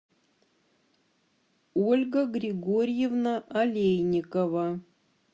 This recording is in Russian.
ольга григорьевна олейникова